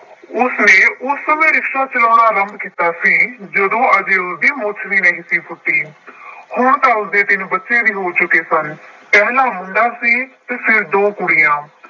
ਉਸਨੇ ਉਸ ਸਮੇਂ ਰਿਕਸ਼ਾ ਚਲਾਉਣਾ ਆਰੰਭ ਕੀਤਾ ਸੀ ਜਦੋਂ ਅਜੇ ਉਸਦੀ ਮੁੱਛ ਵੀ ਨਹੀਂ ਸੀ ਫੁੱਟੀ। ਹੁਣ ਤਾ ਉਸਦੇ ਤਿੰਨ ਬੱਚੇ ਵੀ ਹੋ ਚੁੱਕੇ ਸਨ। ਪਹਿਲਾ ਮੁੰਡਾ ਸੀ ਅਤੇ ਫੇਰ ਦੋ ਕੁੜੀਆਂ।